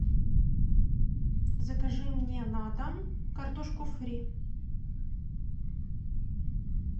закажи мне на дом картошку фри